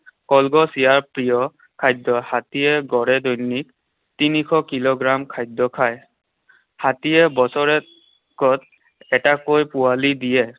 কলগছ ইয়াৰ প্ৰিয় খাদ্য। হাতীয়ে গড়ে দৈনিক তিনিশ কিলোগ্ৰাম খাদ্য খায়। হাতীয়ে বছৰেকত এটাকৈ পোৱালী দিয়ে।